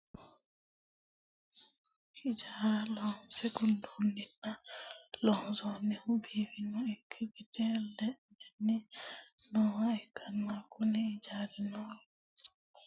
hijaara loonse gundeenna loosohono fano ikkino gede leelanni nooha ikkanna, kuni ijaarino jawanna duucha kilaase heedhanosi, hattono duucha looso dana isi aana loosa dandiinanniho.